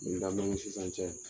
Ni ladɔrɔn sisan cɛ